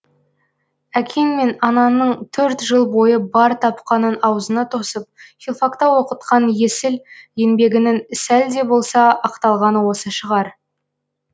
әкең мен анаңның төрт жыл бойы бар тапқанын аузыңа тосып филфакта оқытқан есіл еңбегінің сәл де болса ақталғаны осы шығар